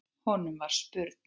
Honum var spurn.